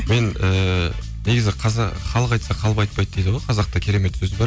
мен ііі негізі халық айтса қалып айтпайды дейді ғой қазақта керемет сөз бар